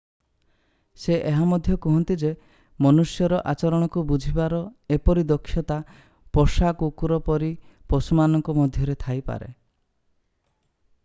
ସେ ଏହା ମଧ୍ୟ କୁହନ୍ତି ଯେ ମନୁଷ୍ୟର ଆଚରଣକୁ ବୁଝିବାର ଏପରି ଦକ୍ଷତା ପୋଷା କୁକୁର ପରି ପଶୁମାନଙ୍କ ମଧ୍ୟରେ ଥାଇପାରେ